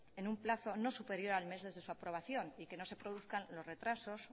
en un plazo no superior al mes desde su aprobación y que no se produzcan los retrasos